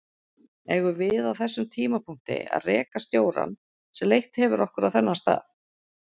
Eigum við á þeim tímapunkti að reka stjórann sem leitt hefur okkur á þennan stað?